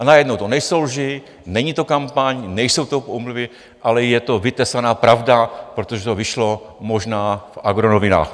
A najednou to nejsou lži, není to kampaň, nejsou to pomluvy, ale je to vytesaná pravda, protože to vyšlo možná v agronovinách.